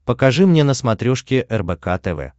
покажи мне на смотрешке рбк тв